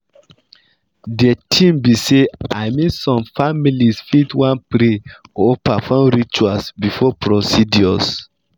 de tin be say i mean some families fit wan pray or perform rituals before procedures.